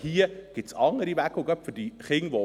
Dafür gibt es aber, wie ich glaube, andere Wege.